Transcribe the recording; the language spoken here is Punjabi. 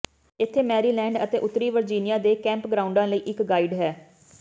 ਇੱਥੇ ਮੈਰੀਲੈਂਡ ਅਤੇ ਉੱਤਰੀ ਵਰਜੀਨੀਆ ਦੇ ਕੈਂਪਗ੍ਰਾਉਂਡਾਂ ਲਈ ਇਕ ਗਾਈਡ ਹੈ